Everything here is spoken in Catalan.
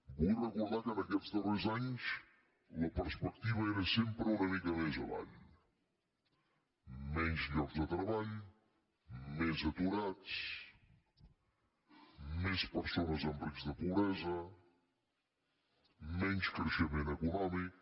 vull recordar que aquests darrers anys la perspectiva era sempre una mica més avall menys llocs de treball més aturats més persones en risc de pobresa menys creixement econòmic